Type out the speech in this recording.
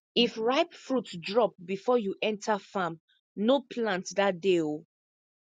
if ripe fruit drop before you enter farm no plant that day o